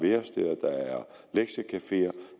lektiecafeer